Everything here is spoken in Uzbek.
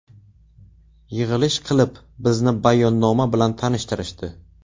Yig‘ilish qilib, bizni bayonnoma bilan tanishtirishdi.